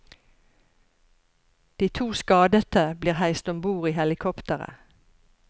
De to skadete blir heist om bord i helikopteret.